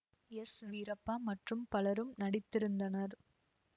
S Veerappa மற்றும் பலரும் நடித்திருந்தனர்